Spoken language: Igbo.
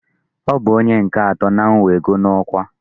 Ọ bụ ónyé nke atọ n'iwego n'ọkwa.